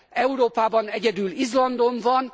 Európában egyedül Izlandon van.